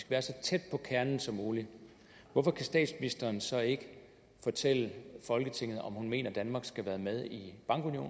være så tæt på kernen som muligt hvorfor kan statsministeren så ikke fortælle folketinget om hun mener at danmark skal være med i